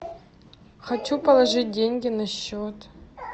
хочу положить деньги на счет